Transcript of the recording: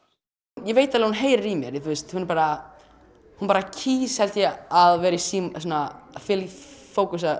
ég veit alveg að heyrir í mér hún bara hún bara kýs held ég að vera í símanum fókusa